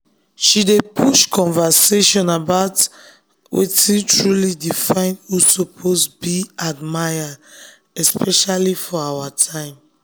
she dey push um conversation about wetin truly define who suppose be admired especially um for this um our time.